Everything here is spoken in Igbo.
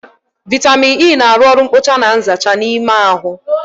Vaitamịn E na arụ oru nkpocha na nzacha n'ime ahụ